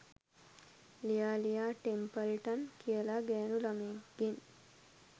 ලියා ලියා ටෙම්පල්ටන් කියලා ගෑනු ලමයෙක්ගෙන්